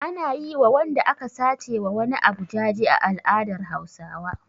Ana yi wa wanda aka sace wa wani abu jaje a al'adar Hausawa.